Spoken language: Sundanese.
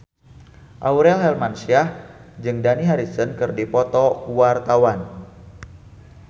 Aurel Hermansyah jeung Dani Harrison keur dipoto ku wartawan